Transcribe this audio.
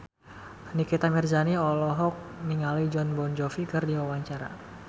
Nikita Mirzani olohok ningali Jon Bon Jovi keur diwawancara